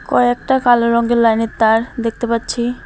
কয়েকটা কালো রংগের লাইনের তার দেখতে পাচ্ছি।